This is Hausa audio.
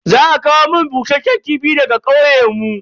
Za a kawo mun bushasshen kifi daga kauye yau.